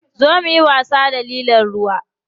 Zo muyi wasa da lilon ruwa.